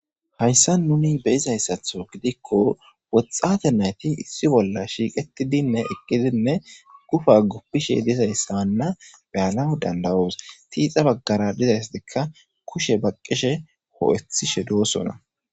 hayssa nuni be'zayssatho gidikko woxxate nayti issi bolla shiiqetidinne eqqidinne gufa guppishe dizayssanna beyana danda'os, tiixa baggara dizayssadekka kushe baqqishe hoo'ethishe doosona